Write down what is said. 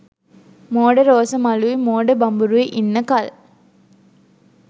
මෝඩ රෝස මලුයි මෝඩ බඹරුයි ඉන්න කල්